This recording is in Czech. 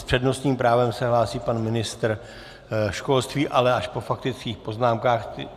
S přednostním právem se hlásí pan ministr školství, ale až po faktických poznámkách.